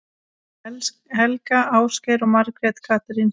Helga, Ásgeir og Margrét Katrín.